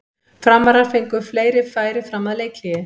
Framarar fengu fleiri færi fram að leikhléi.